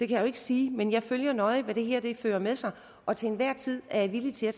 kan jeg ikke sige men jeg følger nøje hvad det her fører med sig og til enhver tid er jeg villig til at